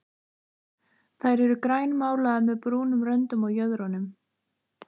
Þær eru grænmálaðar með brúnum röndum á jöðrunum.